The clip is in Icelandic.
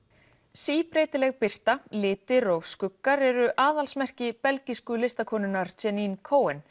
síbreytileg birta litir og skuggar eru aðalsmerki belgísku listakonunnar Jeanine